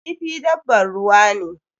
Kifi dabbar ruwa ne.